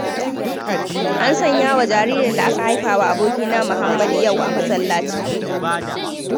An sanyawa jaririn da aka haifawa abokina muhammadu yau a masallaci